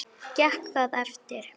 Gekk það eftir.